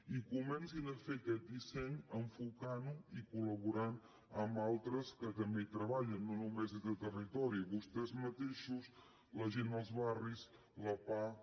i comencin a fer aquest disseny enfocant lo i col·laborant amb altres que també hi treballen no només des de territori vostès mateixos la gent dels barris la pah